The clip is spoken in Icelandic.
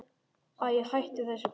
Æi, hættu þessu bara.